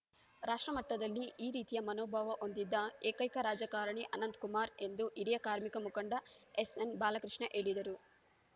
ರಾಷ್ಟ್ರಮಟ್ಟದಲ್ಲಿ ಈ ರೀತಿಯ ಮನೋಭಾವ ಹೊಂದಿದ್ದ ಏಕೈಕ ರಾಜಕಾರಣಿ ಅನಂತಕುಮಾರ್‌ ಎಂದು ಹಿರಿಯ ಕಾರ್ಮಿಕ ಮುಖಂಡ ಎಸ್‌ಎನ್‌ ಬಾಲಕೃಷ್ಣ ಹೇಳಿದರು